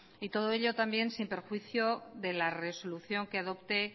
y todo ello también sin perjuicio de la resolución que adopte